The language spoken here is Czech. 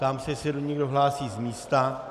Ptám se, jestli se někdo hlásí z místa.